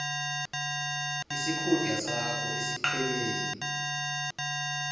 isikhundla sakho esiqhemeni